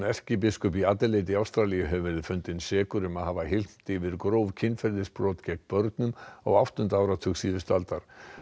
erkibiskup í Adelaide í Ástralíu hefur verið fundinn sekur um að hafa hylmt yfir gróf kynferðisbrot gegn börnum á áttunda áratug síðustu aldar